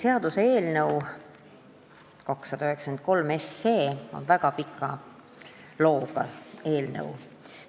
Seaduseelnõu 293 on väga pika looga eelnõu.